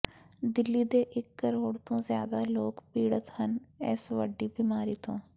ਦਿੱਲੀ ਦੇ ਇਕ ਕਰੋੜ ਤੋਂ ਜ਼ਿਆਦਾ ਲੋਕ ਪੀੜਤ ਹਨ ਇਸ ਵੱਡੀ ਬਿਮਾਰੀ ਤੋਂ